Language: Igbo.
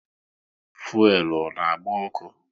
Fuelu ọ na agba ọkụ?